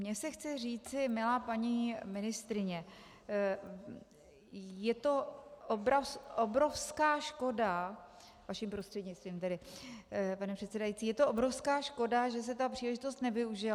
Mně se chce říci: Milá paní ministryně, je to obrovská škoda - vaším prostřednictvím tedy, pane předsedající - je to obrovská škoda, že se ta příležitost nevyužila.